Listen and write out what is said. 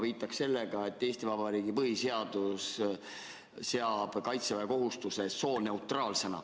Ma viitan ka sellele, et Eesti Vabariigi põhiseadus seab kaitseväekohustuse sooneutraalsena.